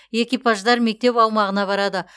экипаждар мектеп аумағына барады